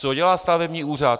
Co dělá stavební úřad?